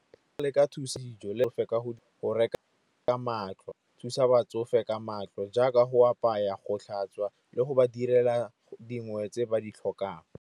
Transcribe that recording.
Le ka thusa le fa ka go reka ka matlo. Go thusa batsofe ka matlo jaaka go apaya, go tlhatswa le go ba direla dingwe tse ba di tlhokang.